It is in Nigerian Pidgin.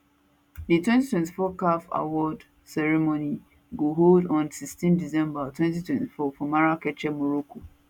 di 2024 caf award award ceremony go hold on 16 december 2024 for marrakech morocco